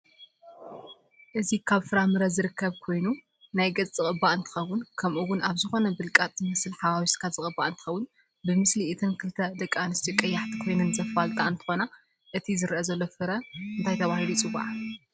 እዚ ካብ ፍራምረ ዝርከብ ኮይኑ ናይ ገፅ ዝቅባእ እንትከውን ከምኡ እውን ኣብ ዝኮነ ብልቃጥ ዝመስል ሓዋውስካ ዝቅባእ እንትከውን ብምስሊ እተን ክልተ ደቂ ኣንስት ቀያሓቲ ኮይነን ዘፋልጣ እንትኮና እቲ ዝረአ ዘሎ ፍረ እንታይ ተበሂሉይፅዋዕ?